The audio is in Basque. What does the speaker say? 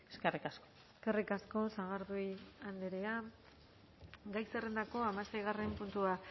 eskerrik asko eskerrik asko sagardui andrea gai zerrendako hamaseigarren puntua